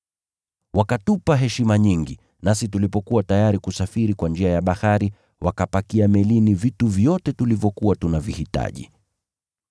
Wakatupa heshima nyingi, nasi tulipokuwa tayari kusafiri kwa njia ya bahari, wakapakia melini vitu vyote tulivyokuwa tunavihitaji.